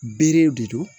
Berew de don